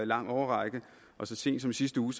lang årrække og så sent som i sidste uge